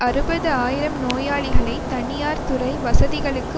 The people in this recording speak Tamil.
அறுபது ஆயிரம் நோயாளிகளை தனியார் துறை வசதிகளுக்கு